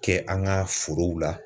Kɛ an ka forow la